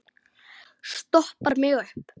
Stoppar mig upp?